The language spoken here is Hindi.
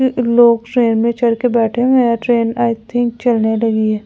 लोग ट्रेन में चढ़ के बैठे हुए हैं ट्रेन आई थिंक चलने लगी है ।